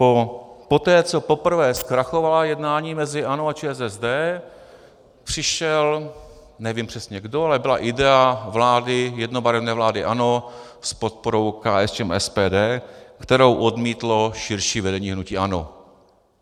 Poté, co poprvé zkrachovala jednání mezi ANO a ČSSD, přišel, nevím přesně kdo, ale byla idea vlády, jednobarevné vlády ANO s podporou KSČM a SPD, kterou odmítlo širší vedení hnutí ANO.